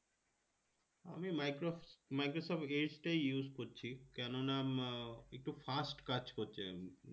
আমি micro microsoft edge টাই use করছি কেনোনা একটু fast কাজ করছে